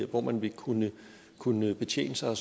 hvor man vil kunne kunne betjene sig af